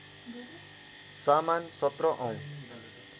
सामान १७ औँ